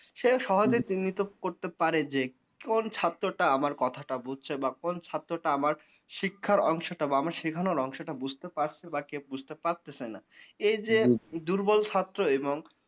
সে সহজে চিহ্নিত করতে পারে যে কোন ছাত্রটা আমার কথাটা বুঝছে বা কোন ছাত্রটা আমার শিক্ষার অংশটা বা আমার শেখানোর অংশটা বুঝতে পড়ছে বা কে বুজতে পারতেছে না এই যে দুর্বল ছাত্র এবং